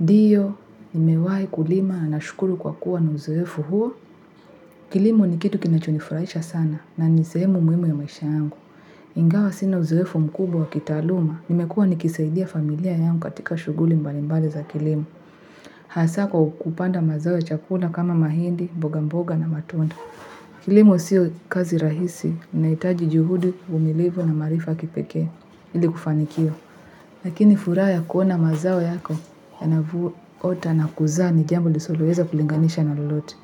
Ndiyo, nimewai kulima na nashukuru kwa kuwa na uzuwefu huo. Kilimo ni kitu kinachonifurahisha sana na nisemu muimu ya maisha yangu. Ingawa sina uzowefu mkubwa wa kitaluma. Nimekuwa nikisaidia familia yangu katika shuguli mbalimbali za kilimo. Hasa kwa kupanda mazao ya chakula kama mahindi, mboga mboga na matunda. Kilimo siyo kazi rahisi. Naitaji juhudi uvumilivu na marifa kipeke. Ili kufanikiwa. Lakini fura ya kuona mazao yako yanavuota na kuza ni jambo lisilolueza kulinganisha na lolote.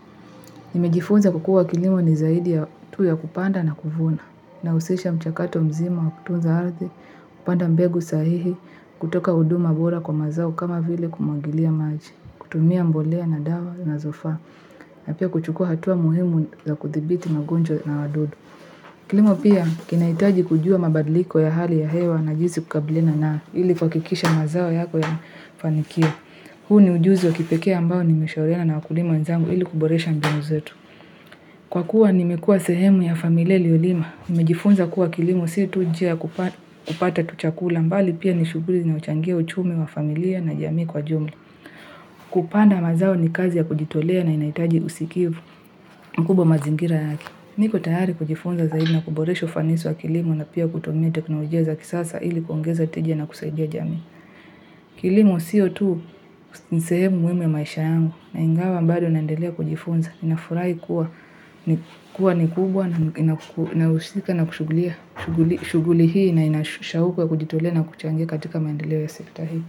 Nimejifunza kukua kilimo ni zaidi ya tu ya kupanda na kufuna. Nausisha mchakato mzima wa kutunza ardi, kupanda mbegu sahihi, kutoka uduma bora kwa mazao kama vile kumangilia maji, kutumia mbolea na dawa nazofa, na pia kuchukua hatua muhimu za kuthibiti magonjwa na wadudu. Kilimo pia kinaitaji kujua mabadliko ya hali ya hewa na jisi kukabliana nao ili kwakikisha mazawo yako yanafanikiwa. Hu ni ujuzi wa kipekea ambao nimeshauriana na wakulima wenzangu ili kuboresha mbinu zetu. Kwa kuwa nimekua sehemu ya familia iliolima. Nimejifunza kuwa kilimo si tujia kupata tuchakula. Bali pia ni shughuli zinazo changia uchumi wa familia na jamii kwa jumla. Kupanda mazao ni kazi ya kujitolea na inahitaji usikivu mkubwa mazingira yake. Niko tayari kujifunza zaidi na kuboresha ufanisi wa kilimo na pia kutumia teknolojia za kisasa ili kuongeza tija na kusaidia jamii. Kilimo sio tu ni sehemu mwema ya maisha yangu. Na ingawa bado naendelea kujifunza. Nafurahi kuwa ni kubwa na inahusika na kushughulika. Shuguli hii na ina shauku ya kujitolea na kuchangia katika maendeleo ya sekta hii.